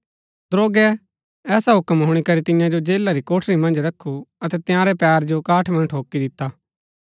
दरोगै ऐसा हूक्म हुणी करी तियां जो जेला री कोठरी मन्ज रखु अतै तंयारै पैरा जो काठ मन्ज ठोकी दिता